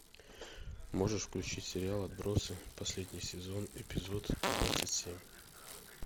можешь включить сериал отбросы последний сезон эпизод двадцать семь